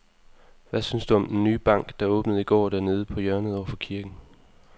Hvad synes du om den nye bank, der åbnede i går dernede på hjørnet over for kirken?